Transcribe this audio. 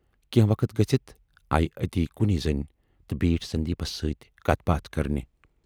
کینہہ وقت گٔژھِتھ آیہِ اَتی کُنی زٔنۍ تہٕ بیٖٹھ سندیٖپس سۭتۍ کتھ باتھ کرنہِ۔